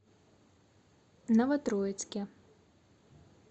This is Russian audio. новотроицке